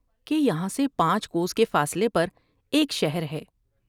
کہ یہاں سے پانچ کوں کے فاصلے پر ایک شہر ہے ۔